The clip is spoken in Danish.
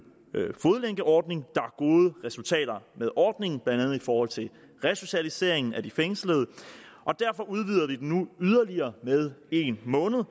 fodlænkeordning der gode resultater med ordningen blandt andet i forhold til resocialisering af de fængslede og derfor udvider vi den nu yderligere med en måned